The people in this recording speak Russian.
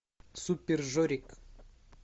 супер жорик